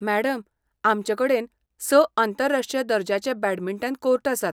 Madam, आमचे कडेन स आंतरराष्ट्रीय दर्जाचे बॅडमिंटन कोर्ट आसात.